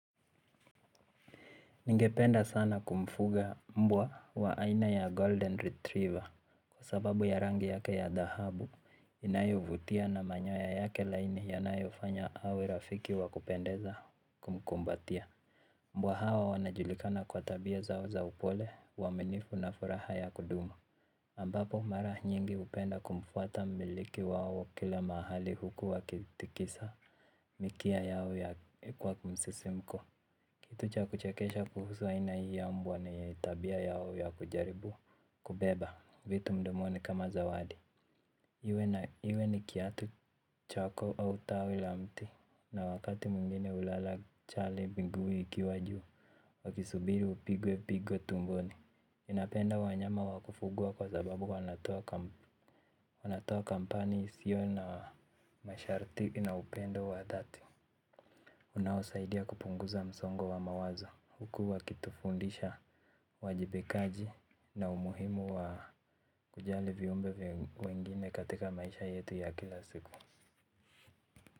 Ningependa sana kumfuga mbwa wa aina ya Golden Retriever kwa sababu ya rangi yake ya dahabu inayovutia na manyoya yake laini yanayofanya awe rafiki wa kupendeza kumkumbatia. Mbwa hao wanajulikana kwa tabia zao za upole uaminifu na furaha ya kudumu ambapo mara nyingi hupenda kumfuata mmiliki wao kila mahali huku wakitikisa mikia yao ya kwa kumsisimko. Kitu cha kuchekesha kuhusu aina hii ya mbwa ni tabia yao ya kujaribu kubeba vitu mdomoni kama zawadi. Iwe ni kiatu chako au tawi la mti na wakati mwingine hulala chale miguu ikiwa juu wakisubiri upigwe pigo tumboni ninapenda wanyama wakufugwa kwa sababu wanatoa kampani isio na masharti na upendo wadhati unaosaidia kupunguza msongo wa mawazo huku wakitufundisha uwajibikaji na umuhimu wa kujali viumbe wengine katika maisha yetu ya kila siku.